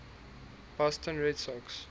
boston red sox